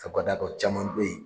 caman be yen